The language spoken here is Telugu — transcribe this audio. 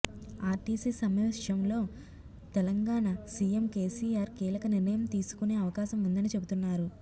ఆర్టీసీ సమ్మె విషయంలో తెలంగాణ సీఎం కేసీఆర్ కీలక నిర్ణయం తీసుకొనే అవకాశం ఉందని చెబుతున్నారు